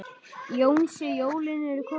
Jónsi, jólin eru komin.